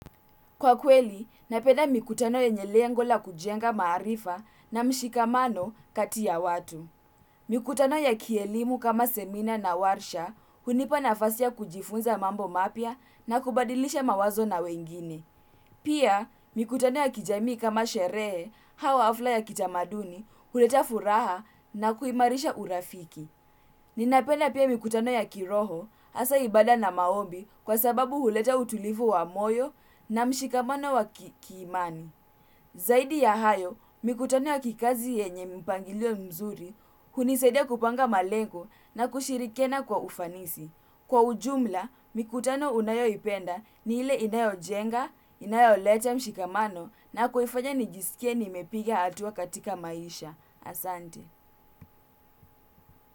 Kwa kweli, napenda mikutano yenye lengo la kujenga maarifa na mshikamano kati ya watu. Mikutano ya kielimu kama semina na warsha hunipa nafasi ya kujifunza mambo mapya na kubadilisha mawazo na wengine pia, mikutano ya kijami kama sherehe au hafla ya kitamaduni, huleta furaha na kuimarisha urafiki. Ninapenda pia mikutano ya kiroho hasa ibada na maombi kwa sababu huleta utulivu wa moyo na mshikamano wa kiimani zaidi ya hayo, mikutano ya kikazi yenye mpangilio mzuri hunisaidia kupanga malengo na kushirikiana kwa ufanisi. Kwa ujumla, mikutano unayoipenda ni ile inayojenga, inayoleta mshikamano na kuifanya nijisikie nimepiga hatua katika maisha.